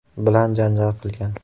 bilan janjal qilgan.